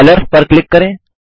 colours पर click करें